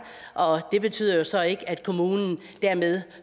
og det betyder jo så ikke at kommunen dermed